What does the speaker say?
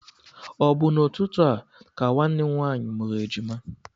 Ọ bụ n'ụtụtụ a ka nwanne m nwaanyị mụrụ ejima?